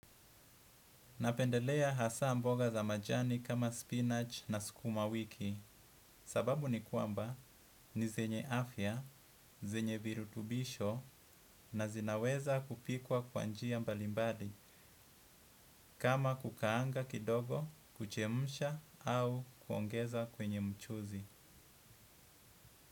Napendelea hasa mboga za majani kama spinach na sukuma wiki sababu ni kwamba ni zenye afya, zenye birutubisho na zinaweza kupikwa kwa njia mbalimbadi kama kukaanga kidogo, kuchemsha au kuongeza kwenye mchuzi.